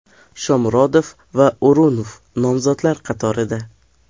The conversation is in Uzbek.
Shomurodov va O‘runov nomzodlar qatorida.